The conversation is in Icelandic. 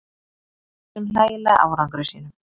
Með þessum hlægilega árangri sínum.